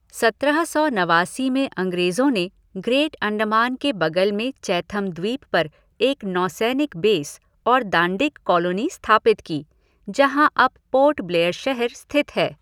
सत्रह सौ नवासी में अंग्रेजों ने ग्रेट अंडमान के बगल में चैथम द्वीप पर एक नौसैनिक बेस और दांडिक कॉलोनी स्थापित की, जहां अब पोर्ट ब्लेयर शहर स्थित है।